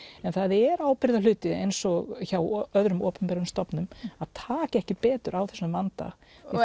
en það er ábyrgðarhluti eins og hjá öðrum opinberum stofnunum að taka ekki betur á þessum vanda